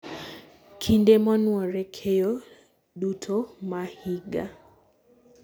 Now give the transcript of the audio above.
kinde monuore, keyo duto ma higa